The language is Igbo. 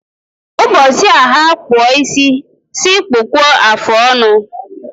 Ụbọchị a ha-akpụ isi, sị kpụkwuo afọ ọnụ